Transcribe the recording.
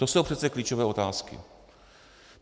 To jsou přece klíčové otázky.